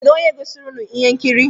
Kedụ onye gosiri ụnụ ihe nkiri?